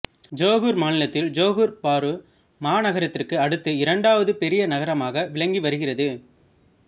Johor மாநிலத்தில் Johor Bahru மாநகரத்திற்கு அடுத்து இரண்டாவது பெரிய நகரமாக விளங்கி வருகிறது